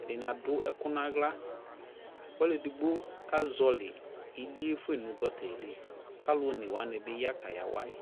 ɛdini adu ɛku na ɣla Ɔluu ɛdigbo ka zɔwɔli ιlι fue fa nu gɔta liKa alu ɔne wani bi ya ka yawa yi